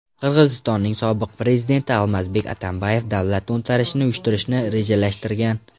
Qirg‘izistonning sobiq prezidenti Almazbek Atambayev davlat to‘ntarishini uyushtirishni rejalashtirgan.